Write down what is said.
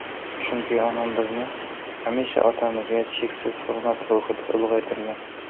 Chunki onam bizni hamisha otamizga cheksiz hurmat ruhida ulg‘aytirgan.